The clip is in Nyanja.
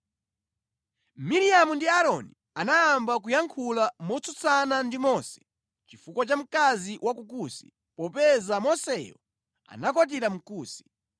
Miriamu ndi Aaroni anayamba kuyankhula motsutsana ndi Mose chifukwa cha mkazi wa ku Kusi, popeza Moseyo anakwatira Mkusi.